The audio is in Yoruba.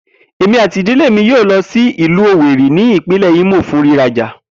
Emi ati idile mi yoo lo si ilu Owerri ni ipinle Imo fun riraja.